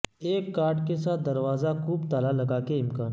ایک کارڈ کے ساتھ دروازہ کوپ تالا لگا کے امکان